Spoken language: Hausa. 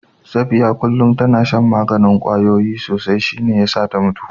Safiya kullum tana shan maganin kwayoyi sosai shi ne ya sa ta mutu